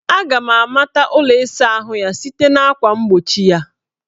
Aga m amata ụlọ ịsaahụ ya site na akwa mgbochi ya